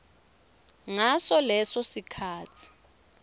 ngaso leso sikhatsi